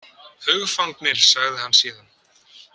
Hugfangnir, sagði hann síðan.